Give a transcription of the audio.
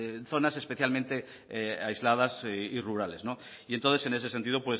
en zonas especialmente aisladas y rurales y entonces en ese sentido